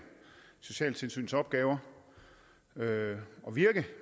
socialtilsynets opgaver og virke